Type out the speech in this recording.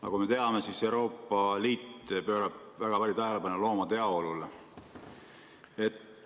Nagu me teame, Euroopa Liit pöörab väga palju tähelepanu loomade heaolule.